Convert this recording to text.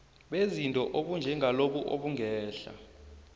bezinto obunjengalobu obungehla